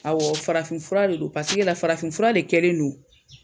Farafinfura de don paseke la farafinfura de kɛlen no